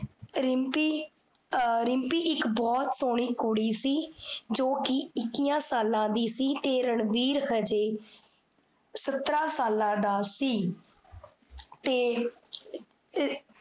ਰਿਮ੍ਪੀ ਇਕ ਬੋਹੋਤ ਸੋਹਨੀ ਕੁੜੀ ਸੀ ਜੋ ਕੀ, ਇੱਕੀਆਂ ਸਾਲਾਂ ਦੀ ਸੀ ਤੇ ਰਣਬੀਰ ਹਜੇ, ਸਤਰਾਂ ਸਾਲਾਂ ਦਾ ਸੀ ਤੇ